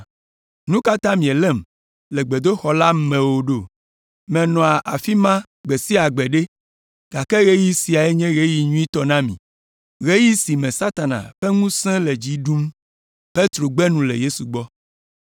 Nu ka ta mielém le gbedoxɔ la me o ɖo? Menɔa afi ma gbe sia gbe ɖe! Gake ɣeyiɣi siae nye ɣeyiɣi nyuitɔ na mi, ɣeyiɣi si me Satana ƒe ŋusẽ le dzi ɖum.”